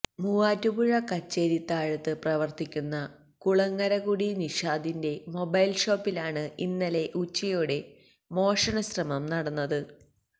മൂവാറ്റുപുഴ കച്ചേരിത്താഴത്ത് പ്രവര്ത്തിക്കുന്ന കുളങ്ങരകുടി നിഷാദിന്റെ മൊബൈല്ഷോപ്പിലാണ് ഇന്നലെ ഉച്ചയോടെ മോഷണശ്രമം നടന്നത്